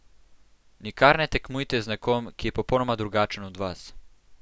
Nikar ne tekmujte z nekom, ki je popolnoma drugačen od vas.